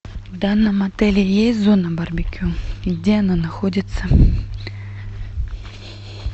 в данном отеле есть зона барбекю и где она находится